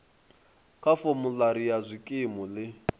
kha formulary ya zwikimu ḽi